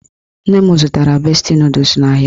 Nne m zụtara besti nọdụs n'ahịa